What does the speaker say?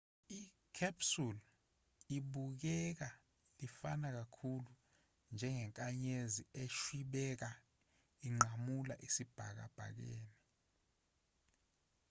i-capsule ibukeka lifana kakhulu njengenkanyezi eshwibeka inqamula esibhakabhakeni